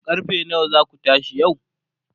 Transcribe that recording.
karfe nawa zaku tashi yau?